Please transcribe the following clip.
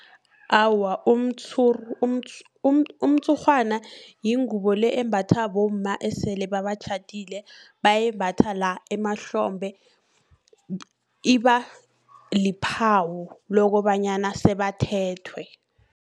Awa, umtshurhwana yingubo le, embatha bomma esele babatjhadile. Bayimbatha la, emahlombe, iba liphawo lokobanyana sebathethwe.